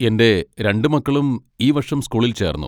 എന്റെ രണ്ടു മക്കളും ഈ വർഷം ഈ സ്കൂളിൽ ചേർന്നു.